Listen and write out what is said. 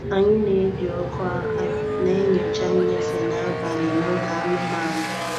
Anyị na-eji ọkụ aka na-enyocha nnyefe n'abalị na ụlọ anụmanụ.